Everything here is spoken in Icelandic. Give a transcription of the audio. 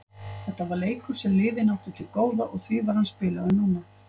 Þetta var leikur sem liðin áttu til góða og því var hann spilaður núna.